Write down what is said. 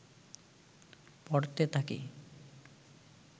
পড়তে থাকি